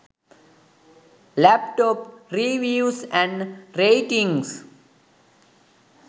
laptop reviews and ratings